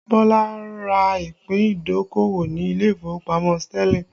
Bọlá ra ìpín idokowo ni ilé ìfowópamọ́ Sterling